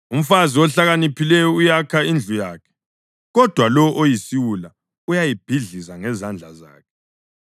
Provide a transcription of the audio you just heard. Umfazi ohlakaniphileyo uyakha indlu yakhe, kodwa lowo oyisiwula uyayibhidliza ngezandla zakhe.